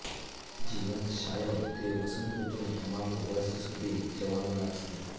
જીવંત છાંયો તે વસંતઋતુને તમામ વર્ષ સુધી જવાનું લાગશે